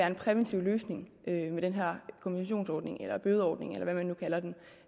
en præventiv løsning med den her kompensationsordning eller bødeordning eller hvad man nu kalder det